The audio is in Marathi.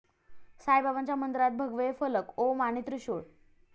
साईबाबांच्या मंदिरात भगवे फलक ओम आणि त्रिशूळ